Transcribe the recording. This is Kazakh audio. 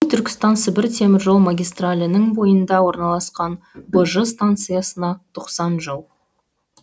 түркістан сібір теміржол магистралінің бойында орналасқан быжы станциясына тоқсан жыл